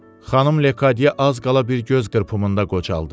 Xanım Lekadye az qala bir göz qırpımında qocaldı.